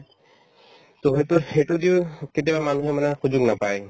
to সেইটো ~ সেইটোয় দিও কেতিয়াবা মানুহে মানে সুযোগ নাপায়